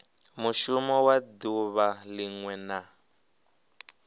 mushumo wa duvha linwe na